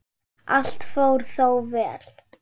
Allt fór þó vel.